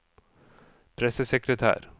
pressesekretær